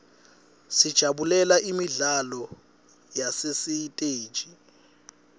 sijabulela imidlalo yasesiteji